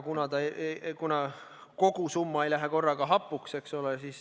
Aga kogu summa ei lähe korraga hapuks, eks ole.